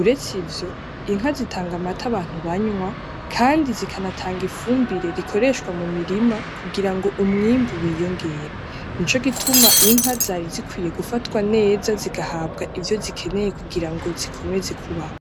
uretse ivyo Inka zitanga amata abantu banywa kandi zikanatanga ifumbire rikoreshwa mumurima kugirango umwimbu wiyongere, nico gutuma Inka zarizikwiye gufatwa neza zigahabwa ivyo zikenewe kugira zikomeze kubaho.